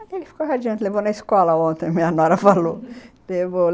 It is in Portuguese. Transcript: Aí ele ficou radiante, levou na escola ontem, minha nora falou